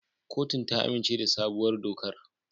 Kotun ta amince da sabuwar dokar.